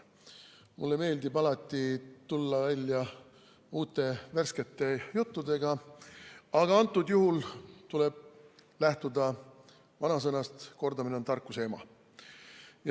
Mulle meeldib alati tulla välja uute, värskete juttudega, aga praegusel juhul tuleb lähtuda vanasõnast, et kordamine on tarkuse ema.